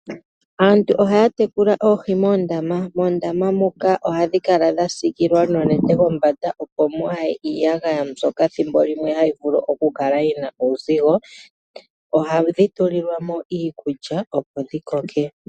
Aantu ohaya tekula oohi moondama. Moondama muka ohadhi kala dha siikilwa noonete kombanda, opo mwaa ye iiyagaya mbyoka ethimbo limwe hayi vulu oku kala yi na uuzigo. Ohadhi tulilwa mo iikulya, opo dhi koke.